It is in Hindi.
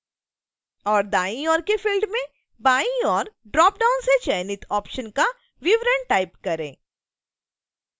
और दाईं ओर के फिल्ड में बाईं ओर ड्रॉपडाउन से चयनित ऑप्शन का विवरण टाइप करें